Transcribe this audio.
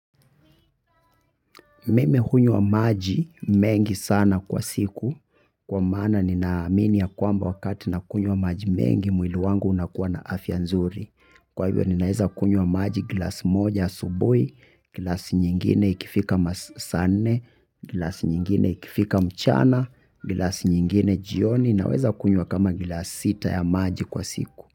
Mimi hunywa maji mengi sana kwa siku kwa maana ninaamini ya kwamba wakati nakunywa maji mengi mwili wangu unakuwa na afya nzuri. Kwa hivyo ninaeza kunywa maji glass moja asubuhi, glass nyingine ikifika masaa nne, glass nyingine ikifika mchana, glass nyingine jioni naweza kunywa kama glass sita ya maji kwa siku.